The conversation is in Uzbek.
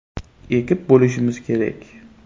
ekib bo‘lishimiz kerak.